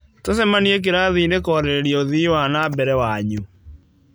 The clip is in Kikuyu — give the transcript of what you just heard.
Tũcemanie kĩrathi-inĩ kũarĩrĩria ũthii wa na mbere wanyu.